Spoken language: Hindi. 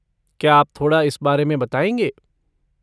क्या आप थोड़ा इस बारे में बताएँगे?